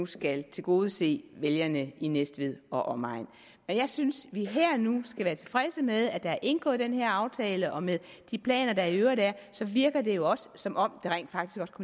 skal tilgodese vælgerne i næstved og omegn jeg synes at vi her og nu skal være tilfredse med at der er indgået den her aftale og med de planer der i øvrigt er virker det jo også som om